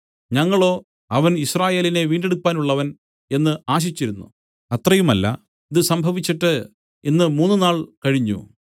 ഞങ്ങളോ അവൻ യിസ്രായേലിനെ വീണ്ടെടുപ്പാനുള്ളവൻ എന്നു ആശിച്ചിരുന്നു അത്രയുമല്ല ഇതു സംഭവിച്ചിട്ട് ഇന്ന് മൂന്നുനാൾ കഴിഞ്ഞു